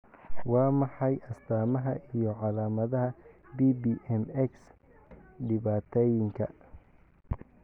Waa maxay astamaha iyo calaamadaha PPM X dhibatayinka?